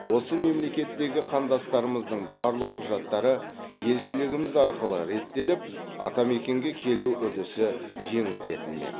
осы мемлекеттегі қандастарымыздың барлық құжаттары елшілігіміз арқылы реттеліп атамекенге келу үрдісі жеңілдетілмек